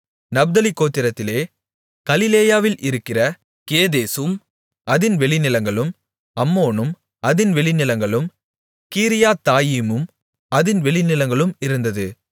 நப்தலி கோத்திரத்திலே கலிலேயாவில் இருக்கிற கேதேசும் அதின் வெளிநிலங்களும் அம்மோனும் அதின் வெளிநிலங்களும் கீரியாத்தாயிமும் அதின் வெளிநிலங்களும் இருந்தது